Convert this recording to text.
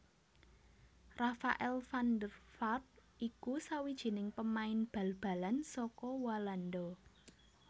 Rafael van der Vaart iku sawijining pamain bal balan saka Walanda